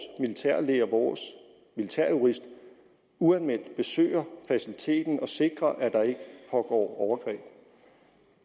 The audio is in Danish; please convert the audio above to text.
militærlæge og vores militærjurist uanmeldt besøger faciliteten og sikrer at der ikke pågår overgreb